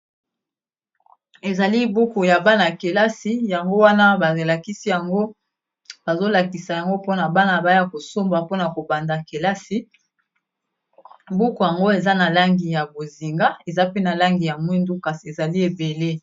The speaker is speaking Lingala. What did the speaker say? Ezali buku ya bana kelasi , yango wana bazolakisa, yango bazolakisa yango pona bana baya kosomba mpona kobanda kelasi buku yango eza na langi ya bozinga eza pe na langi ya mwindu kasi ezali ebele.